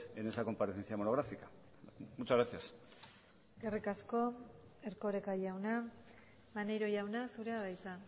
en esa comparecencia monográfica muchas gracias eskerrik asko erkoreka jauna maneiro jauna zurea da hitza